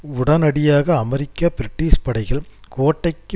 உடனடியாக அமெரிக்க பிரிட்டிஷ் படைகள் கோட்டைக்கு